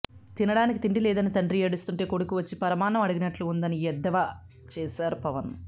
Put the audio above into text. తినడానికి తిండి లేదని తండ్రి ఏడుస్తుంటే కొడుకు వచ్చి పరమాన్నం అడిగినట్లు ఉందని ఎద్దేవా చేశారు పవన్